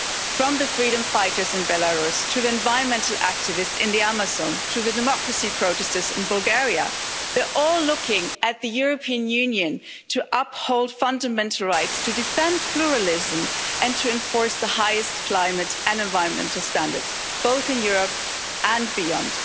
From the freedom fighters in Belarus to the environmental activists in the Amazon, to the democracy protesters in Bulgaria, they are all looking at the European Union to uphold fundamental rights, to defend pluralism and to enforce the highest climate and environmental standards both in Europe and beyond.